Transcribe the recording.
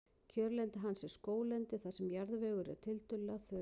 Kjörlendi hans er skóglendi þar sem jarðvegur er tiltölulega þurr.